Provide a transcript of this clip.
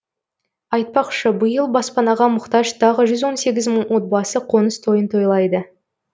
айтпақшы биыл баспанаға мұқтаж тағы жүз он сегіз мың отбасы қоныс тойын тойлайды